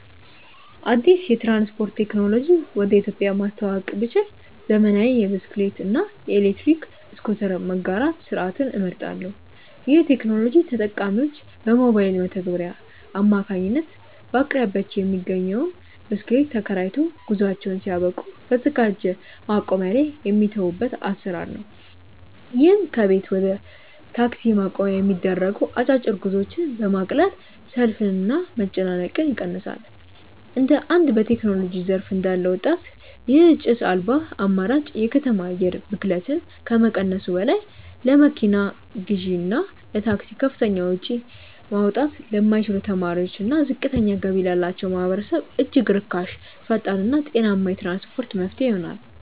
አዲስ የትራንስፖርት ቴክኖሎጂ ወደ ኢትዮጵያ ማስተዋወቅ ብችል፣ ዘመናዊ የብስክሌት እና የኤሌክትሪክ ስኩተር መጋራት ስርዓትን እመርጣለሁ። ይህ ቴክኖሎጂ ተጠቃሚዎች በሞባይል መተግበሪያ አማካኝነት በአቅራቢያቸው የሚገኝን ብስክሌት ተከራይተው፣ ጉዟቸውን ሲያበቁ በተዘጋጀ ማቆሚያ ላይ የሚተዉበት አሰራር ነው። ይህም ከቤት ወደ ታክሲ ማቆሚያ የሚደረጉ አጫጭር ጉዞዎችን በማቅለል ሰልፍንና መጨናነቅን ይቀንሳል። እንደ አንድ በቴክኖሎጂ ዘርፍ እንዳለ ወጣት፣ ይህ ጭስ አልባ አማራጭ የከተማ አየር ብክለትን ከመቀነሱም በላይ፣ ለመኪና ግዢና ለታክሲ ከፍተኛ ወጪ ማውጣት ለማይችሉ ተማሪዎችና ዝቅተኛ ገቢ ላላቸው ማህበረሰቦች እጅግ ርካሽ፣ ፈጣንና ጤናማ የትራንስፖርት መፍትሄ ይሆናል።